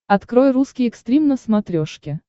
открой русский экстрим на смотрешке